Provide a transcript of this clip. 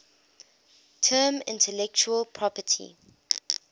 term intellectual property